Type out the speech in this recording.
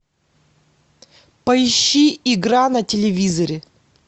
поищи игра на телевизоре